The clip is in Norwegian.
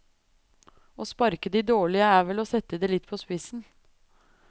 Å sparke de dårlige er vel å sette det litt på spissen.